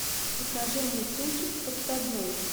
покажи мне кинчик подсадной